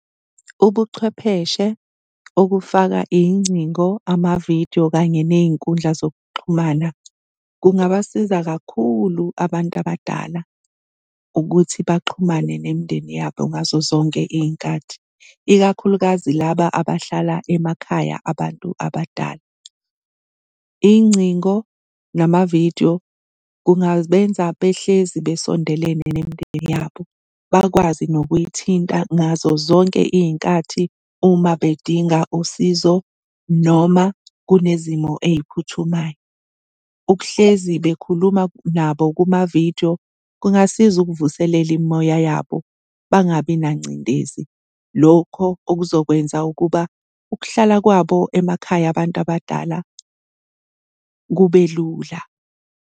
Ubuchwepheshe okufaka iy'ngcingo, ama-video kanye ney'nkundla zokuxhumana kungabasiza kakhulu abantu abadala ukuthi baxhumane nemindeni yabo ngazo zonke iy'nkathi, ikakhulukazi laba abahlala emakhaya abantu abadala. Iy'ngcingo, nama-video kungabenza behlezi besondelene nemindeni yabo, bakwazi nokuyithinta ngazozonke iy'nkathi uma bedinga usizo noma kunezimo ey'phuthumayo. Ukuhlezi bekhuluma nabo kuma-video kungasiza ukuvuselela imimoya yabo bangabi nangcindezi. Lokho okuzokwenza ukuba ukuhlala kwabo emakhaya abantu abadala kube lula.